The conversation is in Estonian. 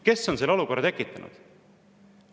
Kes on selle olukorra tekitanud?